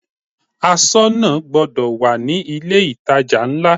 Aṣọ́nà gbọdọ̀ wà ní ilé ìtajà ńlá.